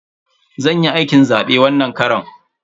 Zan yi aikin zabe wannan karon.